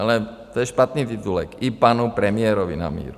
Ale to je špatný titulek, i panu premiérovi na míru.